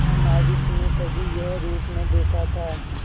महानाविक ने कभी यह रूप न देखा था